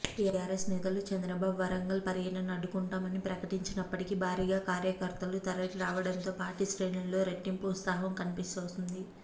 TRS నేతలు చంద్రబాబు వరంగల్ పర్యటనను అడ్డుకుంటామని ప్రకటించినప్పటికీ భారీగా కార్యకర్తలు తరలిరావడంతో పార్టీ శ్రేణుల్లో రెట్టింపు ఉత్సాహం కన్పిస్తోంది